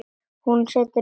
Hún setur upp bros.